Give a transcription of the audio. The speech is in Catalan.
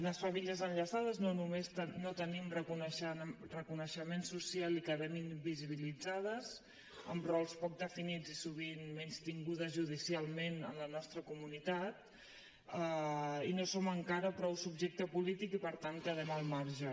les famílies enllaçades no només no tenim reconeixement social i quedem invisibilitzades amb rols poc definits i sovint menystingudes judicialment en la nostra comunitat i no som encara prou subjecte polític i per tant quedem al marge